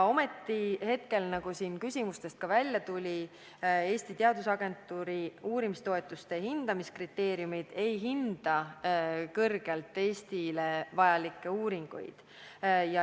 Ometi, nagu siin ka küsimustest välja tuli, Eesti Teadusagentuuri uurimistoetuste hindamiskriteeriumid neid Eestile vajalikke uuringuid kõrgelt ei hinda.